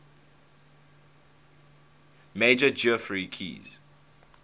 major geoffrey keyes